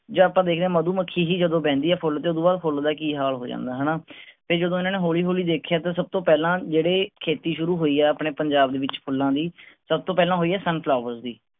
ਜਦੋਂ ਆਪਾਂ ਦੇਖਦੇ ਆ ਮਧੂਮੱਖੀ ਜੀ ਜਦੋਂ ਬਹਿੰਦੀ ਆ ਫੁੱਲ ਤੇ ਓਹ ਤੋਂ ਬਾਅਦ ਫੁੱਲ ਦਾ ਕੀ ਹਾਲ ਹੋ ਜਾਂਦਾ ਹੈ ਹੈਨਾ ਤੇ ਜਦੋਂ ਇਹਨਾਂ ਨੇ ਹੌਲੀ ਹੌਲੀ ਦੇਖਿਆ ਤਾਂ ਸਬ ਤੋਂ ਪਹਿਲਾ ਜਿਹੜੇ ਖੇਤੀ ਸ਼ੁਰੂ ਹੋਈ ਆ ਆਪਣੇ ਪੰਜਾਬ ਦੇ ਵਿਚ ਫੁੱਲਾਂ ਦੀ ਸਬ ਤੋਂ ਪਹਿਲਾਂ ਹੋਈ ਆ ਦੀ